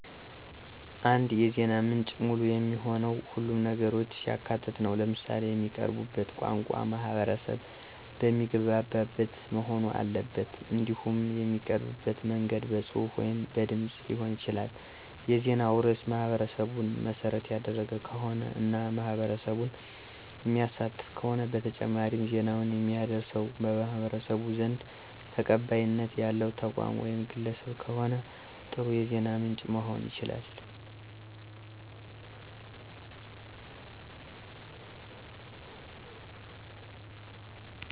አንድ የዜና ምንጭ ሙሉ የሚሆነው ሁሉንም ነገሮች ሲያካትት ነው። ለምሳሌ የሚቀረብበት ቋንቋ ማህበረሰብ በሚግባበት መሆን አለበት። እንዲሁም የሚቀርብበት መንገድ በጽሑፍ ወይም በድምጽ ሊሆን ይችላል። የዜናው ርዕስ ማህበረሰቡን መሰረት ያደረገ ከሆነ እና ማህበረሰቡን የሚያሳትፍ ከሆነ በተጨማሪም ዜናውን የሚያደርሰዉ በማህበረሰቡ ዘንድ ተቀባይነት ያለዉ ተቋም ወይም ግለሰብ ከሆነ ጥሩ የዜና ምንጭ መሆን ይችላል።